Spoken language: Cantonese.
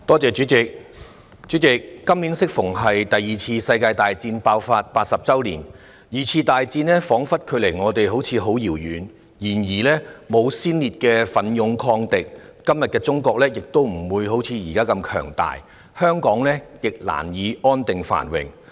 代理主席，今年適逢是第二次世界大戰爆發的80周年，二戰彷彿距離我們十分遙遠，但沒有先烈的奮勇抗敵，今天的中國也不會如斯強大，而香港亦難以安定繁榮。